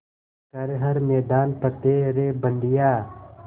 कर हर मैदान फ़तेह रे बंदेया